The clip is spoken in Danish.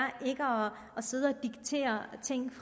sidde og diktere ting